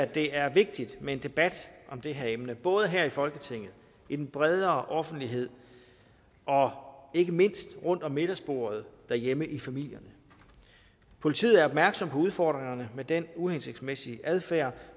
det er vigtigt med en debat om det her emne både her i folketinget i den bredere offentlighed og ikke mindst rundt om middagsbordet derhjemme i familierne politiet er opmærksom på udfordringerne med den uhensigtsmæssige adfærd